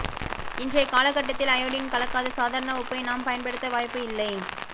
இன்றைய காலகட்டத்தில் அயோடின் கலக்காத சாதாரண உப்பை நாம் பயன்படுத்த வாய்ப்பு இல்லை